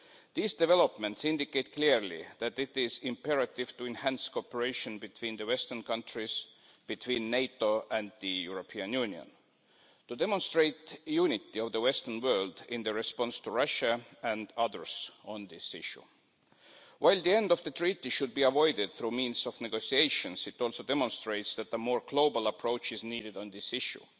These developments indicate clearly that it is imperative to enhance cooperation between the Western countries, between NATO and the European Union to demonstrate the unity of the Western world in response to Russia and others on this issue. While the end of the treaty should be avoided by means of negotiations, it also demonstrates that the more global approach is needed on this issue,